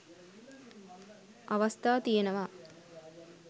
අවස්ථා තියෙනවා.